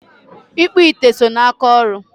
ịkpụ ite so n'aka ọrụ.